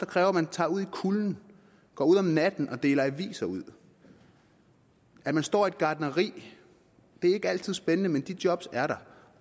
kræver at man tager ud i kulden går ud om natten og deler aviser ud at man står i et gartneri det er ikke altid spændende men de job er der